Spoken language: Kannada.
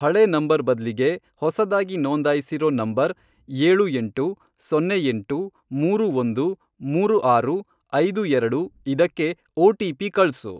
ಹಳೇ ನಂಬರ್ ಬದ್ಲಿಗೆ ಹೊಸದಾಗಿ ನೋಂದಾಯಿಸಿರೋ ನಂಬರ್, ಏಳು ಎಂಟು, ಸೊನ್ನೆ ಎಂಟು, ಮೂರು ಒಂದು, ಮೂರು ಆರು, ಐದು ಎರಡು, ಇದಕ್ಕೆ ಒ.ಟಿ.ಪಿ. ಕಳ್ಸು.